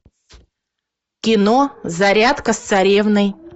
кино зарядка с царевной